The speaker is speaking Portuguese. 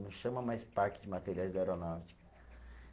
Não chama mais Parque de Materiais da Aeronáutica.